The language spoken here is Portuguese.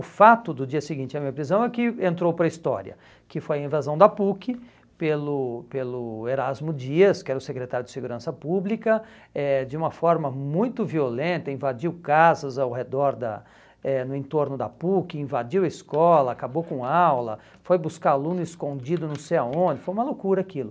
O fato do dia seguinte à minha prisão é que entrou para a história, que foi a invasão da PUC pelo pelo Erasmo Dias, que era o secretário de Segurança Pública, eh de uma forma muito violenta, invadiu casas ao redor, da eh no entorno da PUC, invadiu a escola, acabou com a aula, foi buscar aluno escondido não sei aonde, foi uma loucura aquilo.